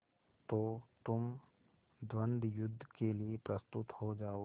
तो तुम द्वंद्वयुद्ध के लिए प्रस्तुत हो जाओ